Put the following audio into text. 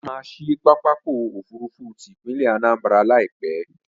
Wọ́n maá ṣí pápákọ̀ òfurufú ti ìpínlẹ̀ Anambra Láìpẹ́